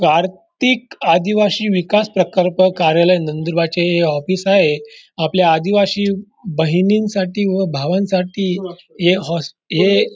आर्थिक अधिवासी विकास प्रकल्प कार्यालय नंदुरबादचे हे ऑफीस आहे आपल्या अधिवासी बहिणींसाठी व भावांसाठी हे हॉस हे--